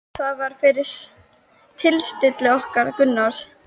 Það var fyrir tilstilli okkar Gunnars